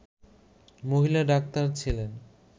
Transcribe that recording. মহিলা ডাক্তার ছিলেন